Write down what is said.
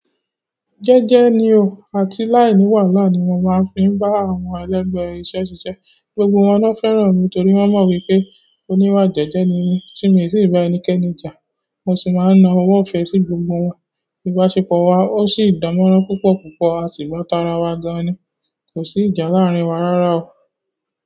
Jẹ́jẹ́ ni o. Àti láìní wàhálà ni mo máa ń fi bá àwọn ẹlẹ́gbẹ̀ẹ́ iṣẹ́ ṣiṣẹ́. Gbogbo wọn ló fẹ́ràn mi nítorí wọn mo wípé oniwa jẹjẹ ni mi ti mi si ba ẹnikẹ́ni ja mo sì máa ń na ọwọ́ ìfẹ́ sí gbogbo wọn. Ìbáṣepọ̀ wa ó sì dánmọ́nrán púpọ̀ púpọ̀, a sì gbá tara wa gan ni. Kò sí ìjà láàárín wa rárá o.